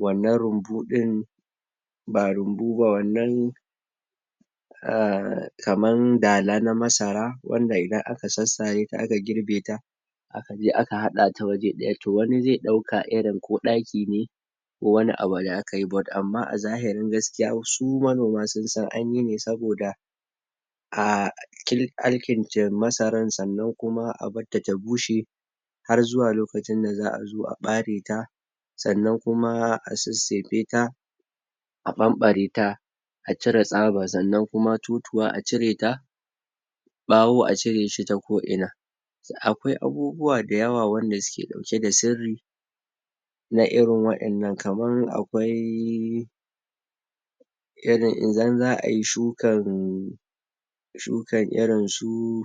wannan rubu din ba rubu ba wannan eh kaman dala nan masara wanda idan aka sasarata aka girbe ta aka je aka hada ta wuri daya to wani zai dauko irin ko daki ne ko wani abu da ka yi but amma a zahirin gaskiya su manoma sun san aniyi ne saboda aahirarkinjen masara san nan kuma a barta ta bbushe har zuwa lokacin da za a zo a bare ta san na kum a sesefeta a bambareta a cire tsaba, san nan totuwa a cire ta bawo a cire shi ta ko ina si akwwqi abubuwa da yawwa wanda suke dauke da sirri na irin wadan nan kamar akwai? idan za a yi shuka shukan irin su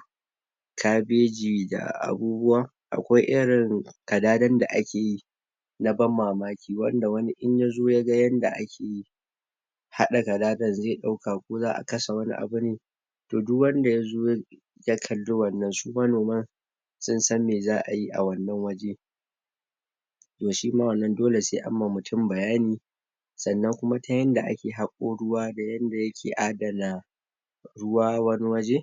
kabeji da abubuwa akawi irin adadan da kaeyi na ban mamaki wanda in wani yazo yaga yanda akeyi hada gadadan zai dauka ko za a kashe wani abu ne to duk wanda yazo ya ya kali wannan su manoman susan me za ayi a wannan waje to shima wannan dole sw an ma mutun bayani san nan kuma ta yadda ake hako ruwa da yadda yake adna ruwa wani wje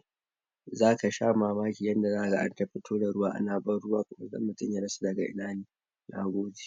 zaka sha mamaki yanda za kaga anta fito da ruwa ana ban ruwa kaga mutun ya zaci daga ina ne nagode